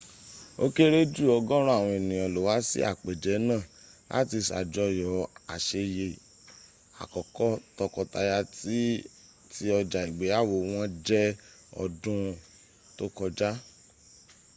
ó kéré jù ọgọ́rún àwọn ènìyàn ló wá sí àpèjẹ náà láti ṣàjọyọ àṣeyẹ àkọ́kọ́ tókọtaya tí ọja ìgbeyàwó wọ́n jẹ ọdún tó kọjá